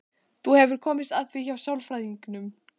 Þú hefur komist að því hjá sálfræðingnum?